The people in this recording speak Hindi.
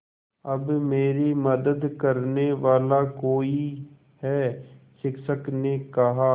अब मेरी मदद करने वाला कोई है शिक्षक ने कहा